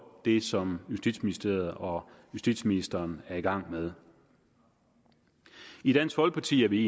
det som justitsministeriet og justitsministeren er i gang med i dansk folkeparti er vi